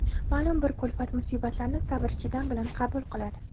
ma’lum bir kulfat-musibatlarni sabr-chidam bilan qabul qiladi.